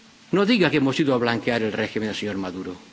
No diga que hemos ido a blanquear el régimen del señor Maduro.